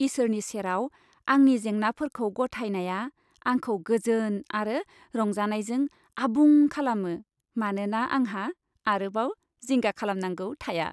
इसोरनि सेराव आंनि जेंनाफोरखौ गथायनाया आंखौ गोजोन आरो रंजानायजों आबुं खालामो, मानोना आंहा आरोबाव जिंगा खालामनांगौ थाया।